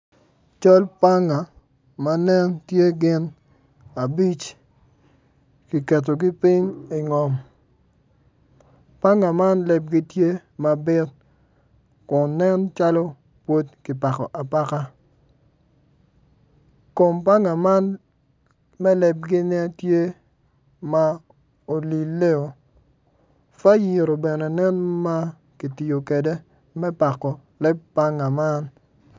Cal panga ma nen tye gin abic kiketogi ping ingom panga man lebgi tye mabit kun nen calo pud kipako apaka kom panga man ma lebgi nen tye ma olileo fayiro bene nen ma kitiyo kwede me pako panga man.